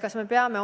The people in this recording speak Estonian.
Kas me peame